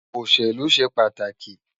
Oṣélú ṣé pàtáki